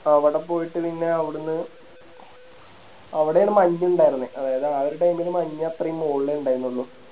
അവിടെ പോയിട്ട് പിന്നെ അവിടുന്ന് അവിടെയാണ് മഞ്ഞ് ഇണ്ടാരുന്നേ അതായത് ആ ഒരു Time ല് മഞ്ഞ് അത്രെയും മോളിലെ ഇണ്ടായിന്നുള്ളു